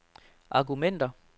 argumenter